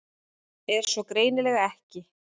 En svo er greinilega ekki.